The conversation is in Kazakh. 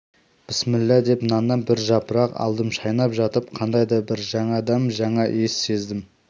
бісміллә деп наннан бір жапырақ алдым шайнап жатып қандай да бір жаңа дәм жаңа иіс сездім